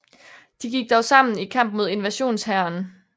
De gik dog sammen i kamp mod invasionshæren